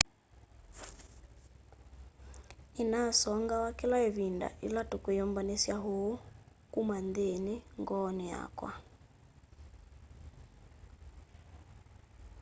ninasongaw'a kila ivinda ila tukwiyumbanisya uu kuma nthini ngooni yakwa